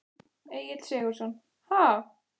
Egill Sigurðsson: Ha?